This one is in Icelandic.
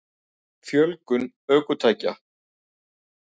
Fjölgun ökutækja?